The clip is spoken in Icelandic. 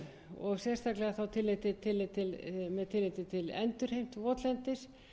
og sérstaklega þá með tilliti til endurheimtar votlendis